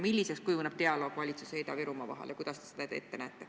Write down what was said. Milliseks kujuneb dialoog valitsuse ja Ida-Virumaa vahel ning kuidas te seda teete?